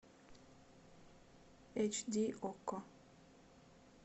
эйч ди окко